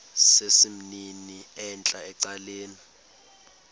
sesimnini entla ecaleni